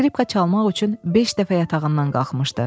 Skripka çalmaq üçün beş dəfə yatağından qalxmışdı.